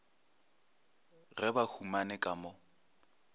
ge ba humane ka mo